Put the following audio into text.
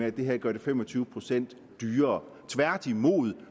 at det her gør det fem og tyve procent dyrere tværtimod